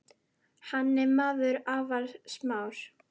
Hann er maður afar smár.